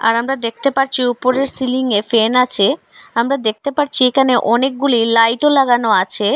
আমরা দেখতে পারছি উপরের সিলিংয়ে ফ্যান আছে আমরা দেখতে পারছি এখানে অনেকগুলি লাইটও লাগানো লাগানো আছে।